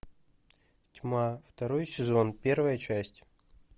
тьма второй сезон первая часть